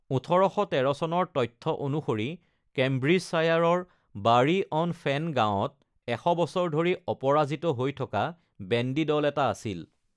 ১৮১৩ চনৰ তথ্য অনুসৰি কেম্ব্ৰিজশ্বায়াৰৰ বাৰী-অন-ফেন গাঁৱত এশ বছৰ ধৰি অপৰাজিত হৈ থকা বেণ্ডী দল এটা আছিল।